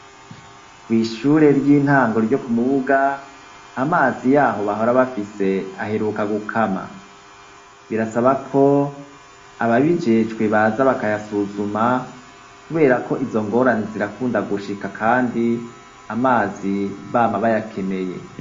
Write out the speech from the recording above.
Kw'ishure ry'intango ryo Kumubuga, amazi yaho bahora bafise aheruka gukama. Birasaba ko ababijejwe baza bakayasuzuma, kuberako izo ngorane zirakunda gushika kandi amazi bama bayakeneye.